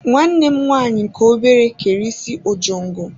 Nwanne m nwanyị nke obere kere isi ojongo.